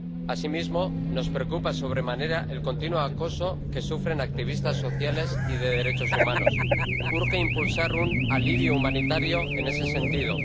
Asimismo, nos preocupa sobremanera el continuo acoso que sufren activistas sociales y de derechos humanos. Urge impulsar un alivio humanitario en ese sentido.